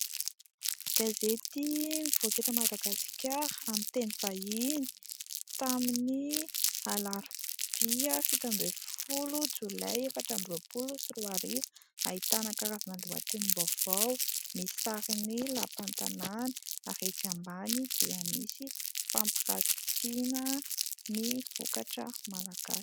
Gazety mivoaka eto Madagasikara amin'ny teny vahiny, tamin'ny alarobia fito ambin'ny folo jolay efatra amby roapolo sy roa arivo, ahitana karazana lohatenim-baovao, misy sary ny lampan'ny tanàna ary etsy ambany dia misy fampirantina ny vokatra malagasy.